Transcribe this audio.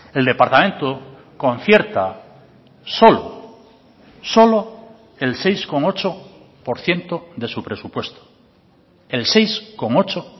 el departamento concierta solo solo el seis coma ocho por ciento de su presupuesto el seis coma ocho